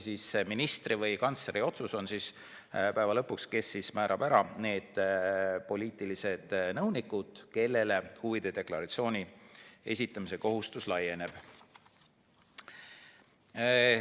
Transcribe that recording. Minister või kantsler on päeva lõpuks see, kes määrab kindlaks poliitilised nõunikud, kellele huvide deklaratsiooni esitamise kohustus laieneb.